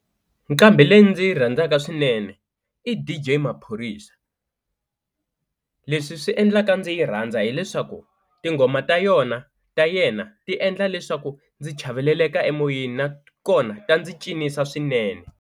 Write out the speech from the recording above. Nqambhi leyi ndzi yi rhandzaka swinene i D_J Maphorisa leswi swi endlaka ndzi yi rhandza hileswaku tinghoma ta yona ta yena ti endla leswaku ndzi chaveleleka emoyeni nakona ta ndzi cinisa swinene.